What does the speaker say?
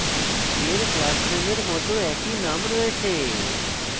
এর class নেমের it একই name রয়েছে